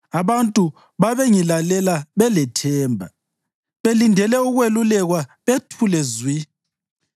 Abantu babengilalela belethemba, belindele ukwelulekwa bethule zwi.